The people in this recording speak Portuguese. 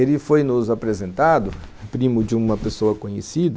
Ele foi nos apresentado, primo de uma pessoa conhecida,